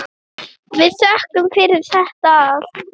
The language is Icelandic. Við þökkum fyrir þetta allt.